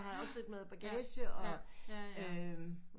Har jeg da også lidt med bagage og øm